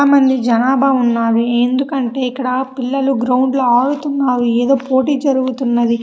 చాలా మంది జనాభా ఉన్నారు. ఎందుకంటే ఇక్కడ పిల్లలు గ్రౌండ్ ల ఆడుతున్నారు. ఏదో పోటీ జరుగుతున్నది.